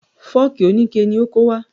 Fọ́ọ̀kì oníke ni o kó wá.